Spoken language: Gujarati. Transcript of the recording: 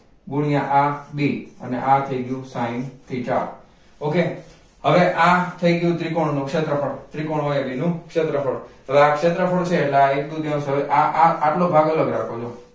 ગુણ્યા આ b અને આ થઈ ગયું sin theta okay હવે આ થઈ ગયું ત્રિકોણનું ક્ષેત્રફળ ત્રિકોણ હોઈ અટલે એનું ક્ષેત્રફળ છે હવે ક્ષેત્રફળ છે એટલે આ એક દૂતીયાયાંઉન્સ હવે આ આટલો ભાગ અલગ રાખો જો